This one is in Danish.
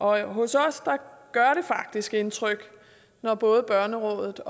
vej hos os gør det faktisk indtryk når både børnerådet